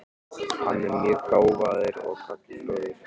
Hann er mjög gáfaður og gagnfróður.